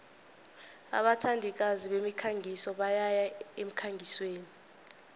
abathandikazi bemikhangiso bayaya emkhangisweni